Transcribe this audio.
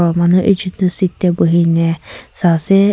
aro manu ekjon tu seat tae buhina saase.